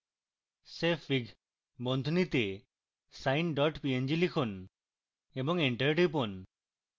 savefig sine png লিখুন এবং enter টিপুন